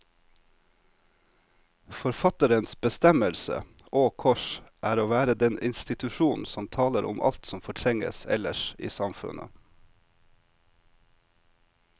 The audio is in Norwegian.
Forfatterens bestemmelse, og kors, er å være den institusjon som taler om alt som fortrenges ellers i samfunnet.